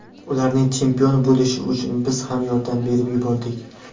Ularning chempion bo‘lishi uchun biz ham yordam berib yubordik.